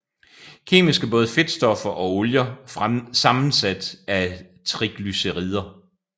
Kemisk er både fedtstoffer og olier sammensat af triglycerider